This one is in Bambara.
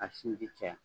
A sinji caya